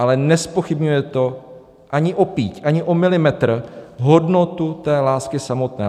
Ale nezpochybňuje to ani o píď, ani o milimetr hodnotu té lásky samotné.